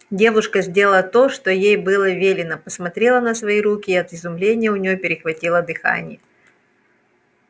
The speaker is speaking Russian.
девушка сделала то что ей было велено посмотрела на свои руки и от изумления у нее перехватило дыхание